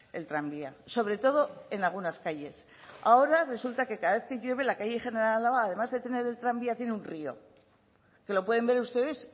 el tranvía sobre todo en algunas calles ahora resulta que cada vez que llueve la calle general álava además de tener el tranvía tiene un río que lo pueden ver ustedes